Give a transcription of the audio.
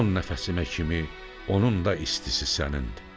Son nəfəsimə kimi onun da istisi sənindir.